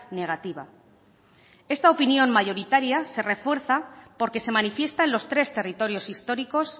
negativa esta opinión mayoritaria se refuerza porque se manifiesta en los tres territorios históricos